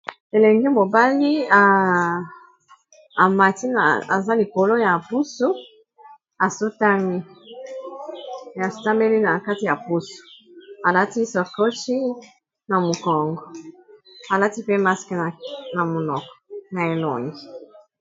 Elenge mobali amati na aza likolo ya pusu asotameli na kati ya pusu alati sakochi na mokongo alati pe maske na munoko na elongi.